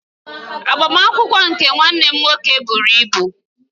Agbamakwụkwọ nke nwanne m nwoke buru ibu